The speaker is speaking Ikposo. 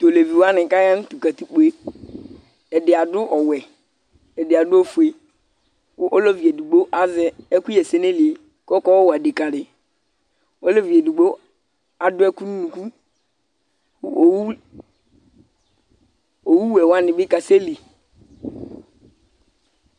Tʋ aleviwani k'aya nʋ tʋ katikpo yɛ, ɛdi adʋ ɔwɛ, ɛdi adʋ ofue kʋ olevi edigbo azɛ ɛkʋyɛ sili nayili yɛ kʋ ɔka yɔwa dekadi, olevi edigbo adʋ ɛkʋ nʋ unuku, kʋ owu wɛ wani bi kasɛli